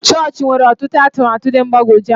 Chọọchị nwere ọtụtụ atụmatụ dị mgbagwoju anya.